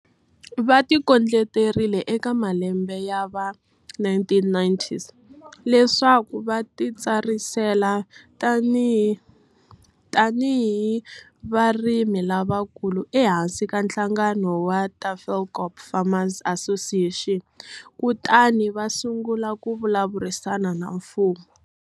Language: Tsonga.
Va tikondleterile eka malembe ya va 1990s leswaku va titsarisela tanihi varimi lavakulu ehansi ka nhlanga no wa Tafelkop Farmers Association kutani va sungula ku vulavurisana na mfumo.